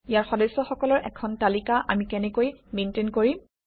ইয়াৰ সদস্যসকলৰ এখন তালিকা আমি কেনেকৈ মেইনটেইন কৰিম